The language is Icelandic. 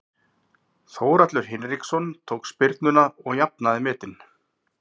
Þórhallur Hinriksson tók spyrnuna og jafnaði metin.